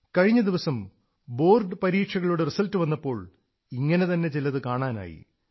കഴിഞ്ഞ ദിവസം ബോർഡ് പരീക്ഷകളുടെ റിസൽട്ട് വന്നപ്പോൾ ഇങ്ങനെതന്നെ ചിലതു കാണാനായി